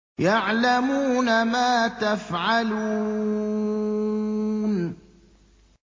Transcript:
يَعْلَمُونَ مَا تَفْعَلُونَ